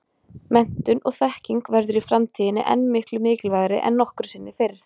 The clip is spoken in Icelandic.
Menntun og þekking verður í framtíðinni enn miklu mikilvægari en nokkru sinni fyrr.